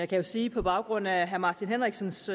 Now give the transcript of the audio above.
kan jo sige på baggrund af herre martin henriksens